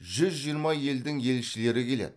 жүз жиырма елдің елшілері келеді